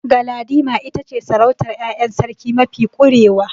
Galadima ita ce sarautar ƴaƴan sarki mafi ƙurewa.